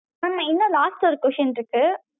mam இன்னும் last ஒரு question இருக்கு